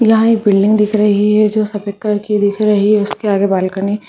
यहां एक बिल्डिंग दिख रही है जो सफ़ेद कलर की दिख रही उसके आगे बालकनी--